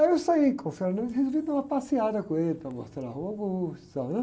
Aí eu saí com o e resolvi dar uma passeada com ele, para mostrar a Rua Augusta. Né?